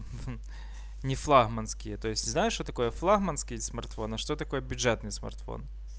не флагманские то есть знаешь что такое флагманский смартфон а что такое бюджетный смартфон